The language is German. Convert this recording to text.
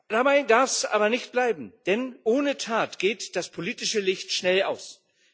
Dabei darf es aber nicht bleiben, denn ohne Tat geht das politische Licht schnell aus.